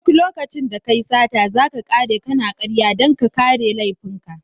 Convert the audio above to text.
Duk lokacin da kayi sata, zaka kare kana karya dan ka kare laifin ka.